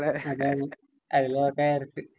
അതെയതെ. അതില് നോക്കാം നു വിചാരിച്ച്.